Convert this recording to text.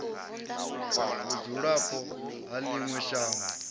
vhudzulapo ha ḽi ṅwe shango